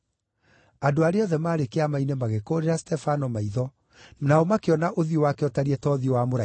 Andũ arĩa othe maarĩ Kĩama-inĩ magĩkũũrĩra Stefano maitho, nao makĩona ũthiũ wake ũtarĩi ta ũthiũ wa mũraika.